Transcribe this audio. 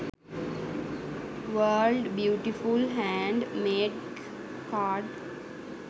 world beautiful hand made card